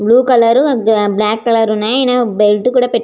Blue colour black colour ఉన్నాయి. ఈయన belt కూడా పెట్టు --